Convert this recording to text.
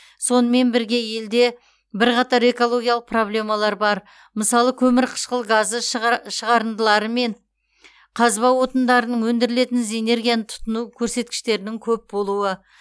сонымен бірге елде бірқатар экологиялық проблемалар бар мысалы көмірқышқыл газы шығарындылары мен қазба отындарынан өндірілетін энергияның тұтыну көрсеткіштерінің көп болуы